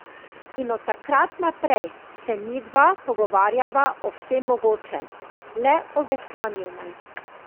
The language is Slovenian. In od takrat naprej se midva pogovarjava o vsem mogočem, le o veslanju ne.